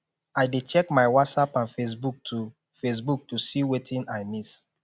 i dey check my whatsapp and facebook to facebook to see wetin i miss